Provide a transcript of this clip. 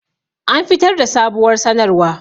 An fitar da sabuwar sanarwa